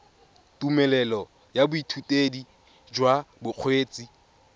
tumelelo ya boithutedi jwa bokgweetsi